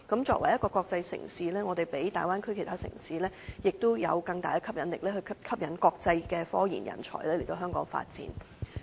作為一個國際城市，我們比大灣區其他城市有更大吸引力，吸引國際科研人才來香港發展。